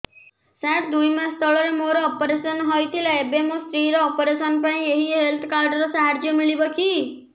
ସାର ଦୁଇ ମାସ ତଳରେ ମୋର ଅପେରସନ ହୈ ଥିଲା ଏବେ ମୋ ସ୍ତ୍ରୀ ର ଅପେରସନ ପାଇଁ ଏହି ହେଲ୍ଥ କାର୍ଡ ର ସାହାଯ୍ୟ ମିଳିବ କି